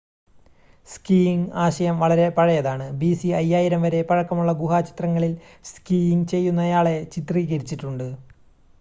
skiing ആശയം വളരെ പഴയതാണ് bc 5000 വരെ പഴക്കമുള്ള ഗുഹാചിത്രങ്ങളിൽ സ്കീയിംങ് ചെയ്യുന്നയാളെ ചിത്രീകരിച്ചിട്ടുണ്ട്